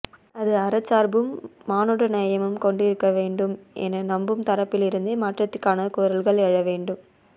அது அறச்சார்பும் மானுடநேயமும் கொண்டிருக்கவேண்டும் என நம்பும் தரப்பிலிருந்தே மாற்றத்திற்கான குரல்கள் எழவேண்டும்